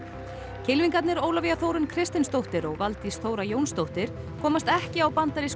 kylfingarnir Ólafía Þórunn Kristinsdóttir og Valdís Þóra Jónsdóttir komast ekki á bandarísku